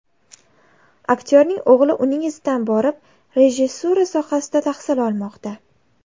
Aktyorning o‘g‘li uning izidan borib, rejissura sohasida tahsil olmoqda.